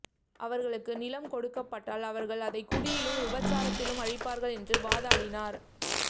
அவர்களுக்கு நிலம் கொடுக்கப்பட்டால் அவர்கள் அதை குடியிலும் விபச்சாரத்திலும் அழிப்பார்கள் என்று வாதாடினார்